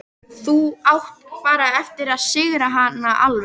Þá áttu bara eftir að sigra hana alveg.